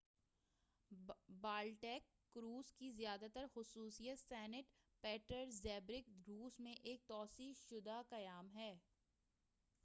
Baltic cruise کی زیادہ تر خصوصیت سینٹ پیٹرزبرگ روس میں ایک توسیع شدہ قیام ہے